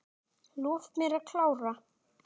Lof mér að klára.